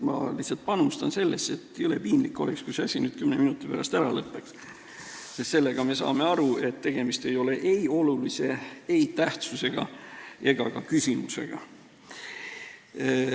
Ma lihtsalt panustan sellesse arutelusse, sest jõle piinlik oleks, kui see asi nüüd kümne minuti pärast ära lõppeks, sest siis me saaksime aru, et tegemist ei ole ei olulise, ei tähtsusega ega ka küsimusega.